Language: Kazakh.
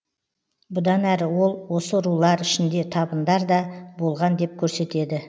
бұдан әрі ол осы рулар ішінде табындар да болған деп көрсетеді